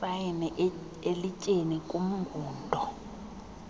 asayine elityeni kumngundo